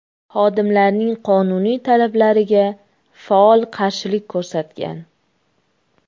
xodimlarning qonuniy talablariga faol qarshilik ko‘rsatgan.